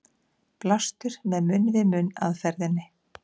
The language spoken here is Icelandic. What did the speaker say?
Blástur með munn-við-munn aðferðinni.